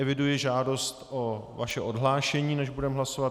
Eviduji žádost o vaše odhlášení, než budeme hlasovat.